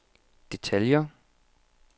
detaljer